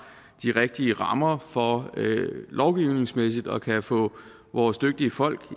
de rigtige rammer for lovgivningsmæssigt at kunne få vores dygtige folk